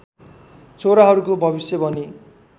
छोराहरूको भविष्य भनी